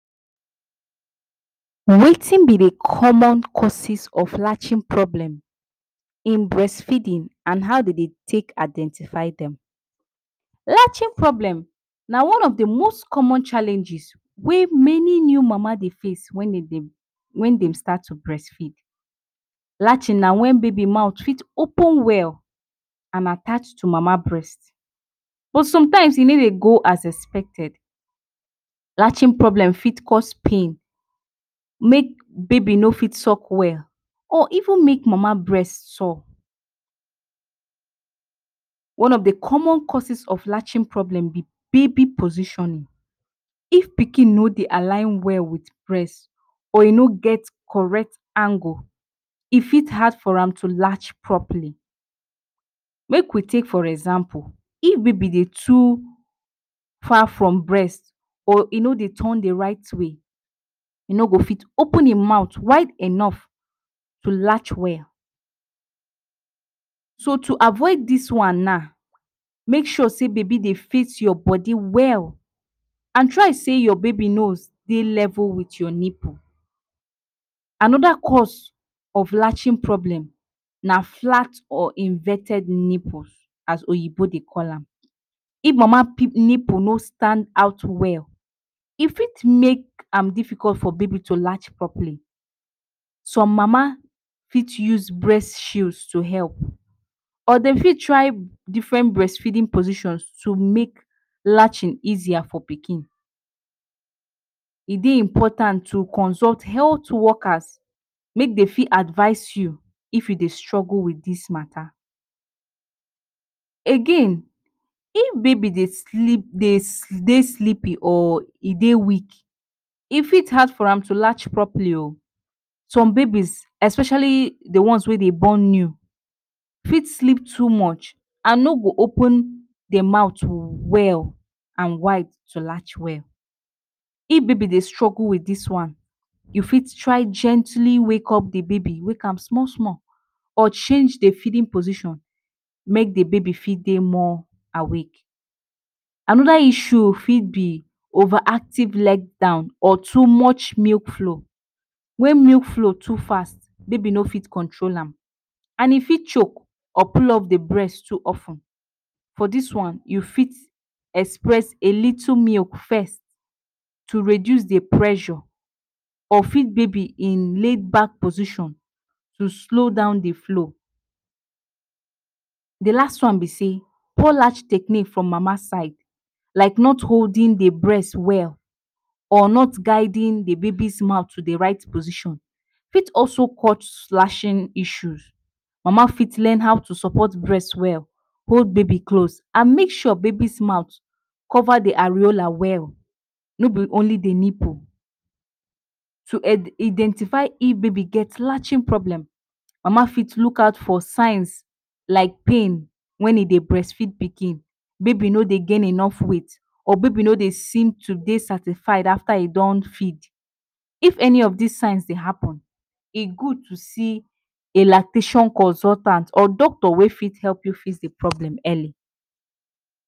Wetin be de common causes of latching problem in breastfeeding and how dem dey take identify dem. Latching problem na one of de most common challenges wey many new mama dey face wen dem dey wen dey start to breastfeed. Latching na wen baby mouth fit open well and attach to mama breast but sometimes e no dey go as expected. Latching problem fit cause pain make baby no fit suck well or even make mama breast sour. One of de common causes of latching problem na baby positioning. If pikin no dey align well with breast or e no get correct angle e fit hard for am to latch properly. Make we take for example, if baby dey too far from breast or e no dey turn the right way. E no go fit open im mouth wide enough to latch well. So to avoid dis one na, make sure say baby dey face your body well and try sey your baby nose dey level with your nipple. Another cause of latching problem na flat or inverted nipple, as oyinbo dey call am. If mama nipple no stand out well e fit make am difficult for baby to latch properly. Some mama fit use breast shield to help or dey fit try different breast-feeding positions to make latching easier for pikin. E dey important to consult health workers make dey fit advise you if you dey struggle with dis mata. Again, if baby dey sleep dey sleepy or e dey weak e fit dey hard for am to latch properly o. Some babies especially de ones wey dem born new fit sleep too much and no go open dem mouth well and wide to latch well. If baby dey struggle with dis one, you fit try gently wake up de baby wake am small small or change the feeding position make de baby fit dey more awake. Another issue fit be over active let down or too much milk flow, when milk flow too fast baby no fit control am and e fit choke or pull de breast too of ten. For dis one you fit express a little milk first to reduce the pressure or feed baby in laid back position to slow down de flow. De last one be sey, poor latch technic from mama side like not holding de breast well or not guiding de baby’s mouth to de right position fit also cause latching issues. Mama fit learn how to support breast well, hold baby close and make sure baby’s mouth cover de areola well no be only de nipple. To identify if baby get latching problem, mama fit look out for signs like pain wen e dey breastfeed pikin, baby no dey gain enough weight or baby no dey seem to dey satisfied after e don feed. If any of these signs dey happen e good to see a lactation consultant or doctor wey fit help you fix the problem early.